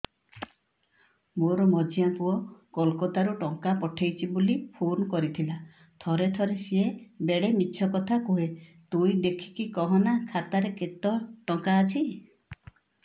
ମୋର ମଝିଆ ପୁଅ କୋଲକତା ରୁ ଟଙ୍କା ପଠେଇଚି ବୁଲି ଫୁନ କରିଥିଲା ଥରେ ଥରେ ସିଏ ବେଡେ ମିଛ କଥା କୁହେ ତୁଇ ଦେଖିକି କହନା ଖାତାରେ କେତ ଟଙ୍କା ଅଛି